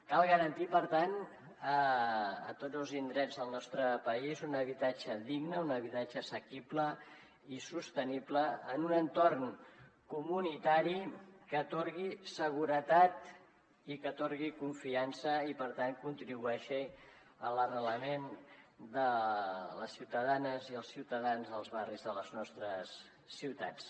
cal garantir per tant a tots els indrets del nostre país un habitatge digne un habitatge assequible i sostenible en un entorn comunitari que atorgui seguretat i que atorgui confiança i per tant contribueixi a l’arrelament de les ciutadanes i els ciutadans dels barris de les nostres ciutats